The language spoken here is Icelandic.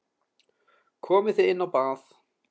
Komið þið inn á bað.